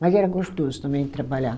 Mas era gostoso também trabalhar.